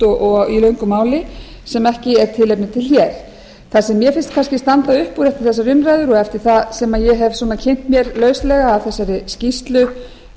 og í löngu máli sem ekki er tilefni til hér það sem mér finnst kannski standa upp úr eftir þessar umræður og eftir það sem ég hef kynnt mér lauslega af þessari skýrslu